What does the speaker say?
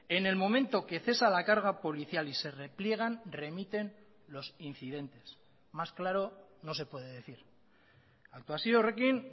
en el momento que cesa la carga policial y se repliegan remiten los incidentes más claro no se puede decir aktuazio horrekin